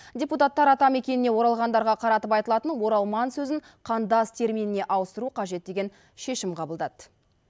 депутаттар атамекеніне оралғандарға қаратып айтылатын оралман сөзін қандас терминіне ауыстыру қажет деген шешім қабылдады